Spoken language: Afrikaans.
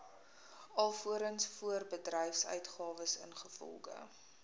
alvorens voorbedryfsuitgawes ingevolge